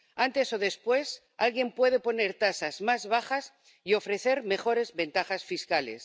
Antes o después alguien puede poner tasas más bajas y ofrecer mejores ventajas fiscales.